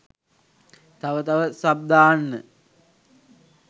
තව තව සබ් දාන්න